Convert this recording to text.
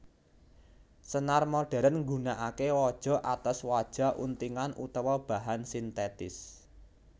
Senar modhèrn nggunakaké waja atos waja untingan utawa bahan sintètis